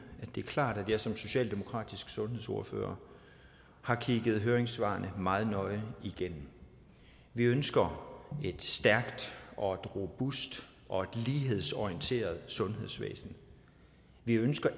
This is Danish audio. det er klart at jeg som socialdemokratisk sundhedsordfører har kigget høringssvarene meget nøje igennem vi ønsker et stærkt og et robust og et lighedsorienteret sundhedsvæsen vi ønsker